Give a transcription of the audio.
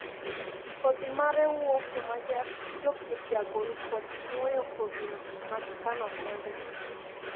kodhi mare wuo kuma jopur jagol kod nuoyo kodhi magikano kendgi.